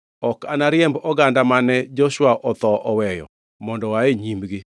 ok anariemb oganda mane Joshua otho oweyo mondo oa e nyimgi.